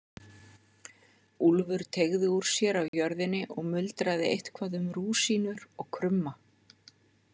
Úlfur teygði úr sér á jörðinni og muldraði eitthvað um rúsínur og krumma.